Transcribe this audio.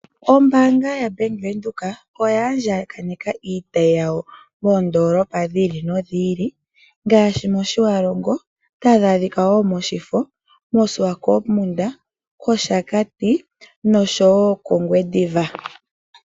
Ombanga yaBank Windhoek oya andjaneka iitayi yawo moondolopa dhiili nodhili ngaashi mOtjiwarongo, otadhi adhika wo mOshifo, koSwapokmund kOshakati noshowo kOngwediva.